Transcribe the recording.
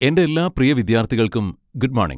എന്റെ എല്ലാ പ്രിയ വിദ്യാർത്ഥികൾക്കും ഗുഡ് മോണിംഗ്.